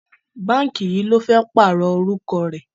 Báǹkì yìí ló fẹ́ pààrọ̀ orúkọ rẹ̀.